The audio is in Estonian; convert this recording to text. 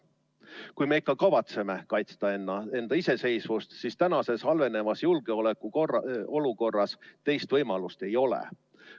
Kui me ikka kavatseme kaitsta enda iseseisvust, siis tänases halvenevas julgeolekuolukorras teist võimalust ei ole.